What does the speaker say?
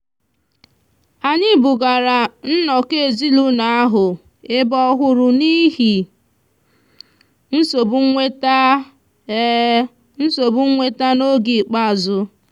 anyị bugara nnọkọ ezinụụlọ ahụ ebe ọhụrụ n'ihi nsogbu nweta nsogbu nweta n'oge ikpeazụ.